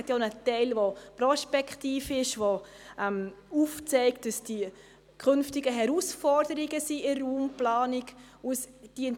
Er enthält ja auch einen prospektiven Teil, der aufzeigt, wie die künftigen Herausforderungen in der Raumplanung aussehen.